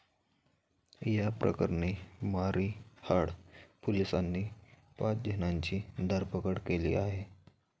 या प्रकरणी मारिहाळ पोलिसांनी पाच जणांची धरपकड केली आहे.